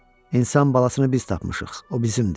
İnsan balasını biz tapmışıq, o bizimdir.